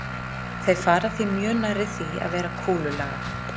Þeir fara því mjög nærri því að vera kúlulaga.